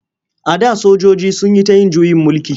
A da sojoji sun yi ta yin juyin mulki.